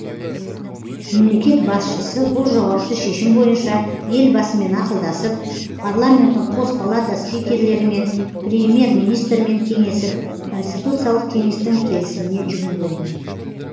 мемлекет басшысы бұл жауапты шешім бойынша елбасымен ақылдасып парламенттің қос палата спикерлерімен премьер министрмен кеңесіп конституциялық кеңестің келісіміне жүгінген